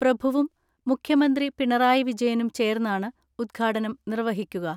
പ്രഭുവും മുഖ്യമന്ത്രി പിണറായി വിജയനും ചേർന്നാണ് ഉദ്ഘാടനം നിർവ്വഹിക്കുക.